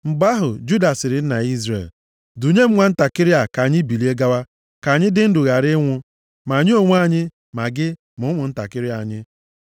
Mgbe ahụ, Juda sịrị nna ya Izrel, “Dunye m nwantakịrị a ka anyị bilie gawa, ka anyị dị ndụ ghara ịnwụ, ma anyị onwe anyị, ma gị, ma ụmụntakịrị anyị.